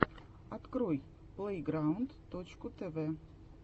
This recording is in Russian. открой плейграунд точку тв